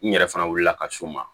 N yɛrɛ fana wuli la ka s'o ma